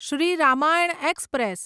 Shri Ramayan express